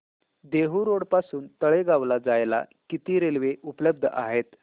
Dehu road पासून तळेगाव ला जायला किती रेल्वे उपलब्ध आहेत